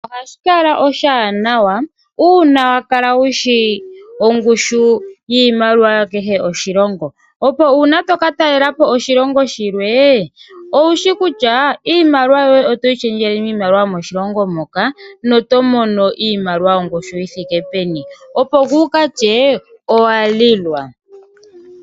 Ohashi kala oshiwanawa uuna wakala wushi ongushu yiimaliwa yakehe oshilongo, opo uuna toka talelapo oshilongo shilwe, owushi kutya iimaliwa yoye otoyi shendjele miimaliwa yomoshilongo moka, na oto mono iimaliwa yongushi yithike peni, ngweye kuukatye owalilwa.